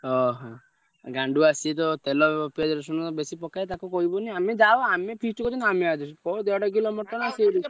ଓହୋ, ଗାଣ୍ଡୁଆ ସିଏତ ତେଲ ପିଆଜ ରସୁଣ ବେଶୀ ପକାଏ ତାକୁ କହିବନି ଆମେ ଯାହାହଉ ଆମେ feast କରୁ କୋଉ ଦେଢ କିଲ ମଟନ ସିଏ ।